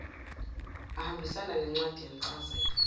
ahambisane nencwadi yencazelo